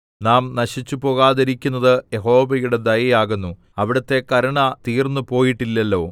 നാം നശിച്ചുപോകാതിരിക്കുന്നത് യഹോവയുടെ ദയ ആകുന്നു അവിടുത്തെ കരുണ തീർന്ന് പോയിട്ടില്ലല്ലോ